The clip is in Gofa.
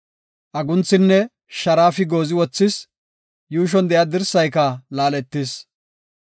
Agunthinne sharaafi goozi wothis; yuushon de7iya dirsayka laaletis.